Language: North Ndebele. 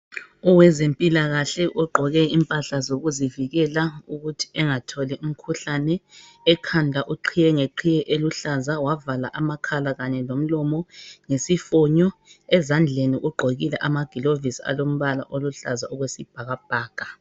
Owezempilakahle ogqoke impahla zokuzivikela ukuthi engatholi umkhuhlane ekhanda uqhiye ngeqhiye eluhlaza wavala amakhala kanye lomlomo ngesifonyo, ezandleni ugqokile amagilovisi alombala oluhlaza okwesibhakabhaka